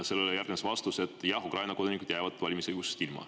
Sellele järgnes vastus, et jah, Ukraina kodanikud jäävad valimisõigusest ilma.